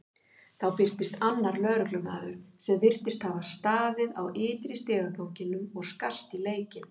Þá birtist annar lögreglumaður sem virtist hafa staðið á ytri stigaganginum og skarst í leikinn.